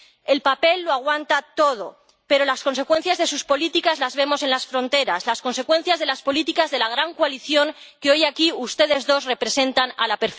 El papel lo aguanta todo, pero las consecuencias de sus políticas las vemos en las fronteras, las consecuencias de las políticas de la gran coalición que hoy, aquí, ustedes dos representan a la